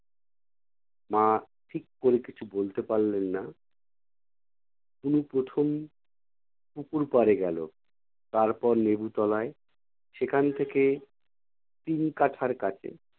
মা ঠিক করে কিছু বলতে পারলেন না। তনু প্রথম পুকুর পাড়ে গেলো। তারপর লেবু তলায়। সেখান থেকে তিন কাঠার কাছে।